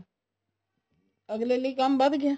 ਅੱਗਲੇ ਲਈ ਕੰਮ ਵੱਧ ਗਿਆ